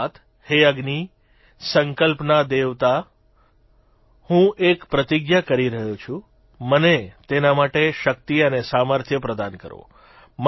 અર્થાત્ હે અગ્નિ સંકલ્પના દેવતા હું એક પ્રતિજ્ઞા કરી રહ્યો છું મને તેના માટે શક્તિ અને સામર્થ્ય પ્રદાન કરો